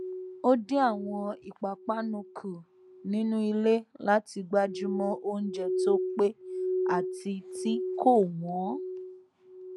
ó dín àwọn ìpàpánu kù nínú ilé láti gbájúmọ oúnjẹ tó pé àti tí kò wọn